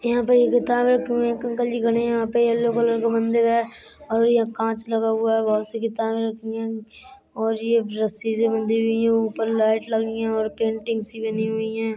यहां पे ये किताब रखी हैं। एक अंकल जी खड़े है यहां पे येलो कलर का मंदिर है और यह कांच लगा हुआ है। बोहोत सी किताबे रखी है और ये रस्सी से बंधी हुई है ऊपर लाइट लगी है और पेंटिंग सी बनी हुई है।